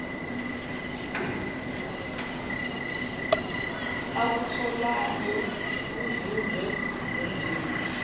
akutholayo kuzuzwe ngumndeni